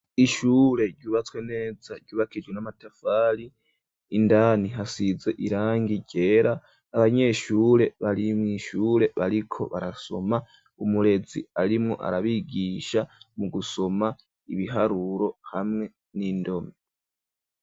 Ishure ryubatswe neza ryubakishijwe n'amatafari indani hasize irangi ryera abanyeshure bari mw'ishure bariko barasoma umurezi arimo arabigisha mugusoma ibiharuro hamwe n'indome.